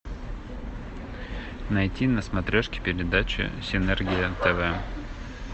найти на смотрешке передачу синергия тв